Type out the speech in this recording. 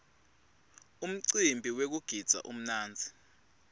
umcimbi wekugidza umnandzi